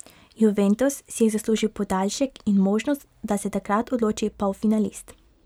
Juventus si je zaslužil podaljšek in možnost, da se takrat odloči polfinalist.